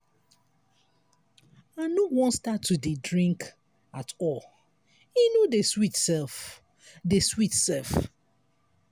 i no wan start to dey drink at all e no dey sweet sef. dey sweet sef.